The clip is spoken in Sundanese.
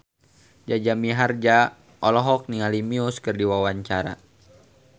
Jaja Mihardja olohok ningali Muse keur diwawancara